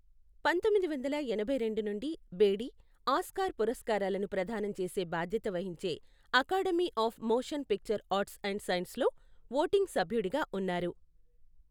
పంతొమ్మిది వందల ఎనభై రెండు నుండి బేడీ, ఆస్కార్ పురస్కారాలను ప్రదానం చేసే బాధ్యత వహించే academy of motion picture arts and సైన్సెస్లో ఓటింగ్ సభ్యుడిగా ఉన్నారు.